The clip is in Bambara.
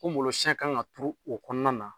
U ngolosiɛn kan ka turu o kɔnɔna na